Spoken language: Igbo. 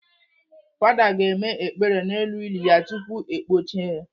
Fada ga-eme ekpere n'elu ili ya tupu ekpọchie ya.